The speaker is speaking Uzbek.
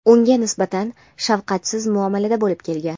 unga nisbatan shafqatsiz muomalada bo‘lib kelgan.